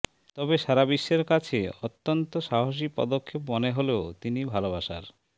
তবে সারা বিশ্বের কাছে অত্যন্ত সাহসী পদক্ষেপ মনে হলেও তিনি ভালবাসার